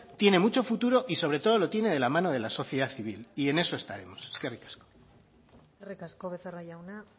tiene mucho futuro y sobre todo lo tiene de la mano de la sociedad civil y en eso estaremos eskerrik asko eskerrik asko becerra jauna